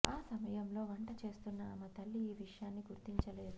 ఆ సమయంలో వంట చేస్తున్న ఆమె తల్లి ఈ విషయాన్ని గుర్తించలేదు